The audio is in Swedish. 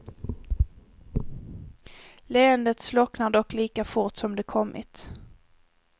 Leendet slocknar dock lika fort som det kommit.